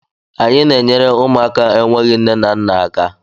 Anyị na-enyere ụmụaka enweghị nne na nna aka.